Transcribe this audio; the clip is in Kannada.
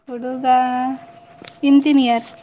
ಹುಡುಗ Engineer